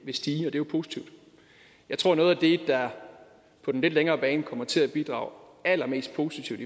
vil stige og det er positivt jeg tror at noget af det der på den lidt længere bane kommer til at bidrage allermest positivt